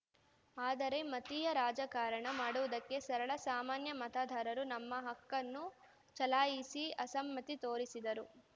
ಆದರೆ ಮತೀಯ ರಾಜಕಾರಣ ಮಾಡುವುದಕ್ಕೆ ಸರಳ ಸಾಮಾನ್ಯ ಮತದಾರರು ತಮ್ಮ ಹಕ್ಕನ್ನು ಚಲಾಯಿಸಿ ಅಸಮ್ಮತಿ ತೋರಿಸಿದರು